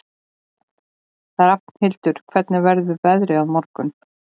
Rafnhildur, hvernig verður veðrið á morgun?